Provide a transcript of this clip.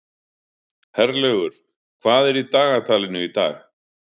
Herlaugur, hvað er í dagatalinu í dag?